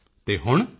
ਮੋਦੀ ਜੀ ਤੇ ਹੁਣ